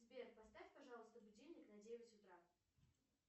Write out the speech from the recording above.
сбер поставь пожалуйста будильник на девять утра